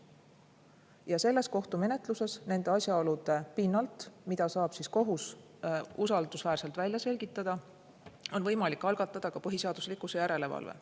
Ja selles kohtumenetluses on võimalik nende asjaolude pinnalt, mida saab kohus usaldusväärselt välja selgitada, algatada põhiseaduslikkuse järelevalve.